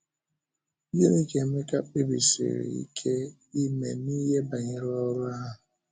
Gịnị ka Emeka kpèbìsìrì ike ime n’ihe banyere ọ́rụ ahụ?